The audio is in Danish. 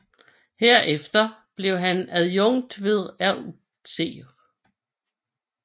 Herefter blev han adjukt ved RUC